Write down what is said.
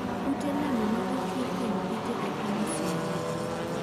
Ute lemo ma ochwee kuom kite epiny msumbiji